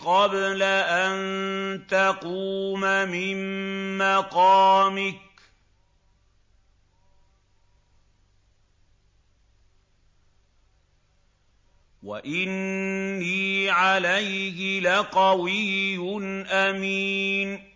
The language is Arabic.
قَبْلَ أَن تَقُومَ مِن مَّقَامِكَ ۖ وَإِنِّي عَلَيْهِ لَقَوِيٌّ أَمِينٌ